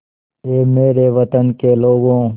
ऐ मेरे वतन के लोगों